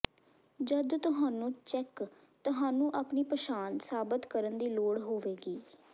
ਜਦ ਤੁਹਾਨੂੰ ਚੈੱਕ ਤੁਹਾਨੂੰ ਆਪਣੀ ਪਛਾਣ ਸਾਬਤ ਕਰਨ ਦੀ ਲੋੜ ਹੋਵੇਗੀ